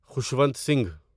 Khushwant Singh